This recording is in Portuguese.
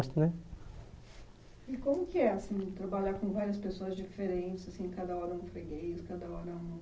Mas também E como que é, assim, trabalhar com várias pessoas diferentes, assim, cada hora um freguês, cada hora um